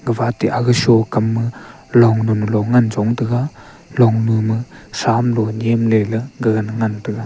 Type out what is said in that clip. gapha te aga sho kam ma long nu nu long ngan chong ngan taga long nu ma sham lo niam ley ley ngan taga.